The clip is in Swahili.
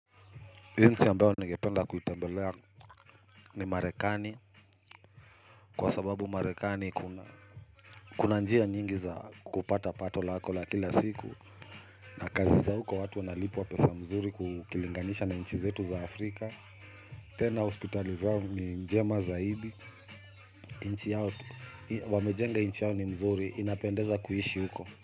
Nchi ambayo ningependa kuitembelea ni marekani. Kwa sababu marekani kuna njia nyingi za kupata pato lako la kila siku. Na kazi za huko watu wanalipwa pesa mzuri kukilinganisha na nchi zetu za Afrika. Tena hospitali zao ni njema zaidi. Wamejenga nchi yao ni mzuri inapendeza kuishi huko.